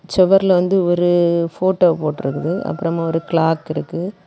செவர்ல வந்து ஒரு போட்டோ போட்டுருக்குது அப்பறமா ஒரு கிளாக் இருக்கு.